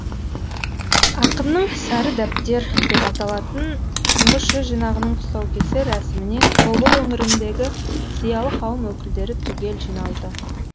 ақынның сары дәптер деп аталатын тұңғыш жыр жинағының тұсаукесер рәсіміне тобыл өңіріндегі зиялы қауым өкілдері түгел жиналды